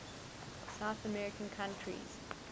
south american countries